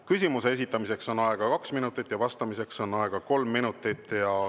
Küsimuse esitamiseks on aega kaks minutit ja vastamiseks on aega kolm minutit.